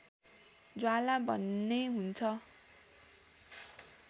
ज्वाला भन्ने हुन्छ